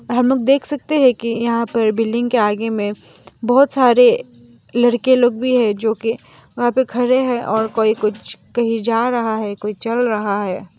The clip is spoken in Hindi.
हम लोग देख सकते है कि यहां पर बिल्डिंग के आगे में बहोत सारे लड़के लोग भी है जो कि वहां पे खरे है और कोई कुछ कहीं जा रहा है कोई चल रहा है।